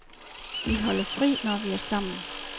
Vi holder fri, når vi er sammen.